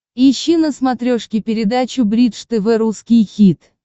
ищи на смотрешке передачу бридж тв русский хит